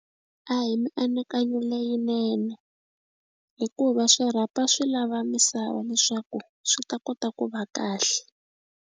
A hi mianakanyo leyinene hikuva swirhapa swi lava misava leswaku swi ta kota ku va kahle.